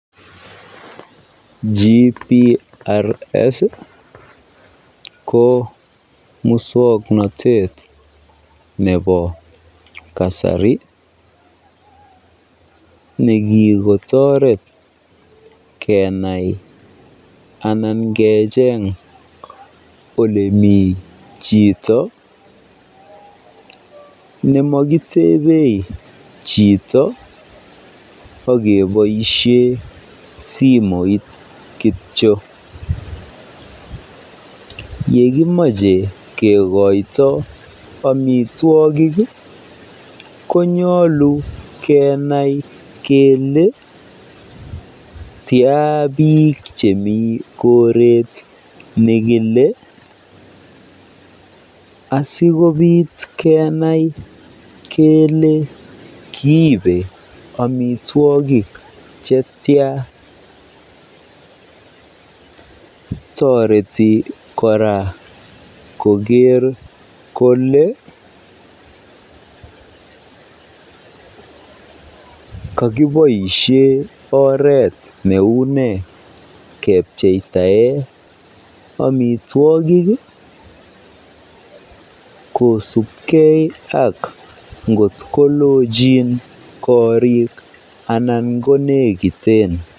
GPRS ko muswoknotet nebo kasari nekikotoret kenai anan kecheng olemii chito nemokitebei chito ak keboishen simoit kitio, yekimoche kikoito omitwokik konyolu kenai kelee tiaa biik chemii koret nekile asikobit kenai kelee kiibe amitwokik chetian, toreti kora koker kolee kokiboishe oreet neune kepcheitaen amitwokik kosipke ak ngot kolochin korik anan konekiten.